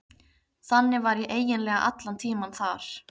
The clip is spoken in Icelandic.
Þannig var ég eiginlega allan tímann þar.